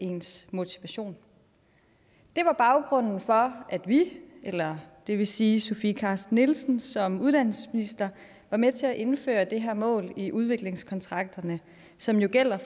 ens motivation der var baggrunden for at vi eller det vil sige sofie carsten nielsen som uddannelsesminister var med til at indføre det her mål i udviklingskontrakterne som jo gælder i